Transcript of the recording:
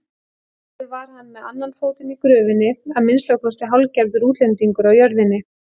Sjálfur var hann með annan fótinn í gröfinni, að minnsta kosti hálfgerður útlendingur á jörðinni.